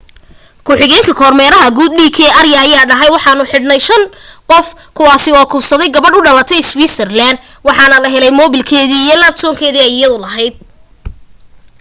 ku xigeenka kormeeraha guud d k arya ayaa dhahay waxaanu xidhnay shan qof kuwaasi oo kufsaday gabadh u dhalay iswiisarlaaan waxaana la helay mobeelkii iyo labtopkii aya lahayd